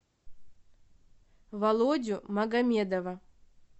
володю магомедова